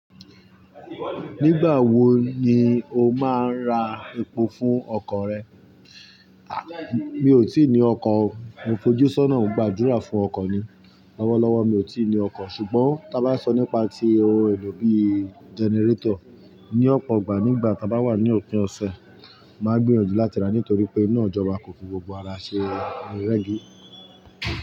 Nígbà wo ni o máa ra epo fún ọkọ̀ rẹ? A! Mi ò tí ì ní ọkọ̀, mo fojú sọ́nà ń gbàdúrà fún ọkọ̀ ni. Lọ́wọ́lọ́wọ́ mi ò tí ì ní ọkọ̀ ṣùgbọ́n tí a bá sọ nípa ti ohun èlò bí generator ní ọ̀pọ̀ ìgbà nígbà tí a bá wà ní òpin ọ̀sẹ̀, màá gbìyànjú láti ra nítorí pé ina ìjọba kò fi gbogbo ara ṣe rẹ́gí.